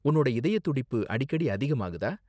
உன்னோட இதய துடிப்பு அடிக்கடி அதிகமாகுதா?